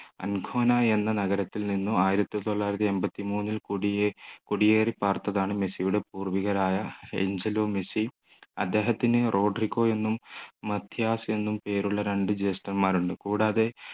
എന്ന നഗരത്തിൽ നിന്നും ആയിരത്തി തൊള്ളായിരത്തി എണ്പത്തിമൂന്നിൽ കുടിയേറി പാർത്തതാണ് മെസ്സിയുടെ പൂർവികരായ അന്ജലോ മെസ്സി അദ്ദേഹത്തിൻ റോഡരികോ എന്നും മധ്യാഹ്‌സ് എന്നും പേരുള്ള രണ്ട് ജേഷ്ഠന്മാർ ഉണ്ട് കൂടാതെ